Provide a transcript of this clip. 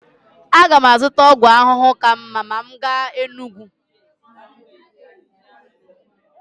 Aga m azụta ọgwụ ahụhụ ka mma ma m gaa Enugwu.